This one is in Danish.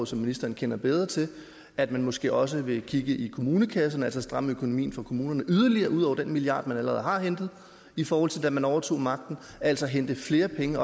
som ministeren kender bedre til at man måske også vil kigge i kommunekassen altså stramme økonomien for kommunerne yderligere ud over den milliard kroner man allerede har hentet i forhold til da man overtog magten altså hente flere penge